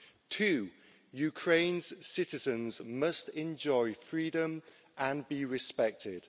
Two, Ukraine's citizens must enjoy freedom and be respected.